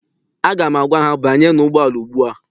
Aga m agwa ha, banyenụ ụgbọala ugbua!